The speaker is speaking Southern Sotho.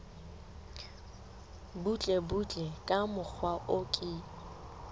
butlebutle ka mokgwa o ke